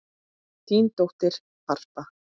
Þín dóttir, Harpa.